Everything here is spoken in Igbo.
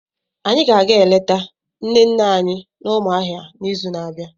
Anyị ga-aga eleta nne nne anyị na Umuahia n'izu na-abịa.